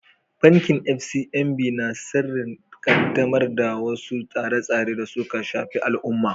Bankin FCMB na shirin ƙaddamar da wasu tsare-tsare da suka shafi al’umma.